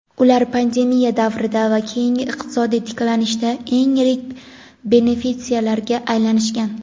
ular pandemiya davrida va keyingi iqtisodiy tiklanishda eng yirik benefitsiarlarga aylanishgan.